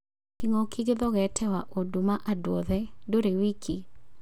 Kĩng'ũki gĩthogete waũndũ ma andũ othe; ndũrĩ wiiki.